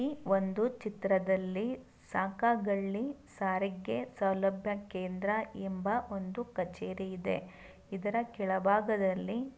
ಈ ಒಂದು ಚಿತ್ರದಲ್ಲಿ ಸಕಾಗಲ್ಲಿ ಸಾರಿಗೆ ಸೌಲಭ್ಯ ಕೇಂದ್ರ‌ ಎಂಬ ಒಂದು ಕಛೇರಿ ಇದೆ ಇದರ ಕೆಳಭಾಗದಲ್ಲಿ.